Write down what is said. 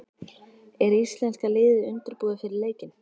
Er íslenska liðið undirbúið fyrir leikinn?